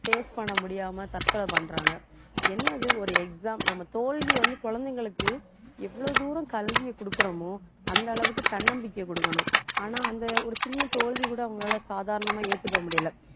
face பண்ண முடியாம தற்கொலை பண்றாங்க என்னது ஒரு exam நம்ம தோல்வியை வந்து, குழந்தைங்களுக்கு எவ்வளவு தூரம் கல்வியை கொடுக்கிறோமோ அந்த அளவுக்கு தன்னம்பிக்கை கொடுக்கணும். ஆனா அந்த ஒரு சின்ன தோல்வி கூட அவங்களால சாதாரணமா ஏத்துக்க முடியலை